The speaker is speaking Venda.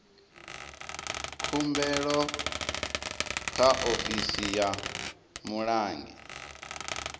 khumbelo kha ofisi ya mulangi